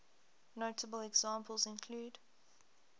notable examples include